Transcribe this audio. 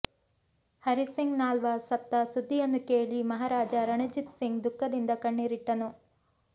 ಹರಿಸಿಂಗ್ ನಾಲ್ವ ಸತ್ತ ಸುದ್ದಿಯನ್ನು ಕೇಳಿ ಮಹಾರಾಜ ರಣಜಿತ್ ಸಿಂಗ್ ದುಃಖದಿಂದ ಕಣ್ಣೀರಿಟ್ಟನು